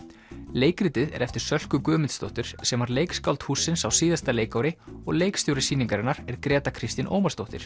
leikritið er eftir Sölku Guðmundsdóttur sem var leikskáld hússins á síðasta leikári og leikstjóri sýningarinnar er Gréta Kristín Ómarsdóttir